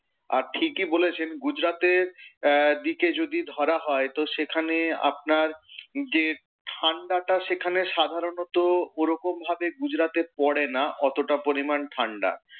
আর ঠিকই বলেছেন গুজরাতের আহ দিকে যদি ধরা হয়, তো সেখানে আপনার যে ঠাণ্ডাটা সেখানে সাধারণত ওরকম ভাবে গুজরাতে পড়ে না অতটা পরিমাণ ঠাণ্ডা।